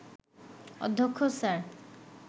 অধ্যক্ষ স্যার